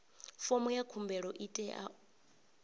fomo ya khumbelo i tea